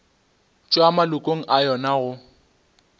tšwa malokong a yona go